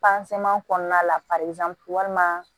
kɔnɔna la walima